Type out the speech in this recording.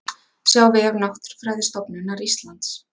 Sjá vef Náttúrufræðistofnunar Íslands